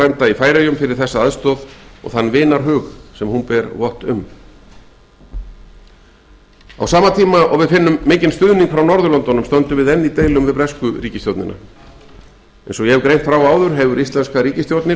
í færeyjum fyrir þessa aðstoð og þann vinarhug sem hún bar vott um virðulegi forseti á sama tíma og við finnum mikinn stuðning frá norðurlöndunum stöndum við enn í deilum við bresku ríkisstjórnina eins og ég hef greint frá áður hefur íslenska ríkisstjórnin